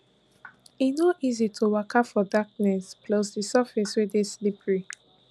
e no easy to waka for darkness pluss di surface we dey slippery